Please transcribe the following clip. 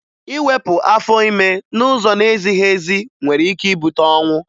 Iwepụ afọ ime n'ụzọ na-ezighi ezi nwere ike ibute ọnwụ